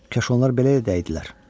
Kaş onlar belə də edərdilər.